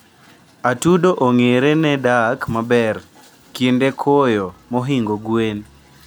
atudo ongere ne dak maber kinde koyo mohingo gwen